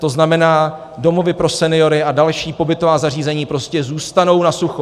To znamená, domovy pro seniory a další pobytová zařízení prostě zůstanou na sucho.